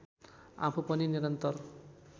आफू पनि निरन्तर